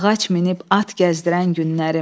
Ağac minib at gəzdirən günlərim.